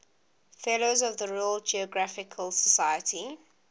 fellows of the royal geographical society